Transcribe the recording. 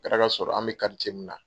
kɛra k'a sɔrɔ an bɛ min na.